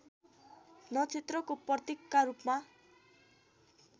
नक्षत्रको प्रतीकका रूपमा